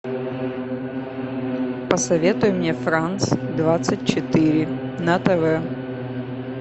посоветуй мне франс двадцать четыре на тв